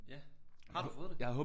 Ja. Har du fået det?